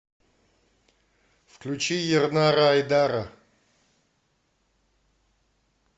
включи ернара айдара